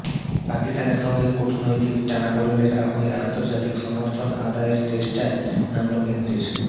পাকিস্তানের সঙ্গে কূটনৈতিক টানাপড়েনের আবহে আন্তর্জাতিক সমর্থন আদায়ের চেষ্টায় নামল কেন্দ্রের